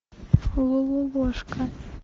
лололошка